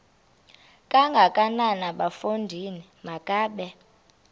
kangakanana bafondini makabe